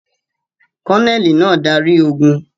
Kọ́nẹ́ẹ́lì náà darí ogún.